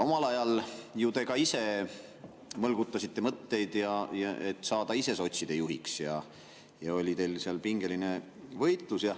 Omal ajal te ju ka ise mõlgutasite mõtteid, et saada sotside juhiks, ja teil oli seal pingeline võitlus.